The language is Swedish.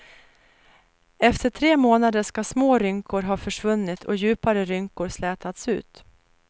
Efter tre månader ska små rynkor ha försvunnit och djupare rynkor slätats ut.